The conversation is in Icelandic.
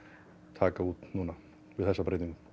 taka út núna við þessa breytingu